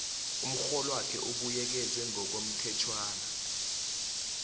umrholwakho ubuyekezwe ngokomthetjhwana